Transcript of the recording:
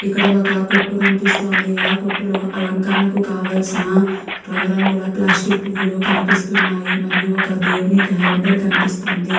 ఇక్కడ ఒక కొట్టు కనిపిస్తుంది. ఆ కొట్టులో ఆలంకరణకు కావల్సిన రంగు రంగుల ప్లాస్టిక్ పూవులు కనిపిస్తున్నాయి. మరియు ఒక దేవుని క్యాలెండర్ కనిపిస్తుంది.